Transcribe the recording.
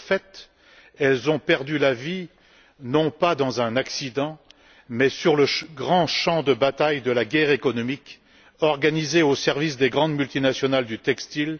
De fait, ces femmes ont perdu la vie non pas dans un accident, mais sur le grand champ de bataille de la guerre économique organisée au service des grandes multinationales du textile,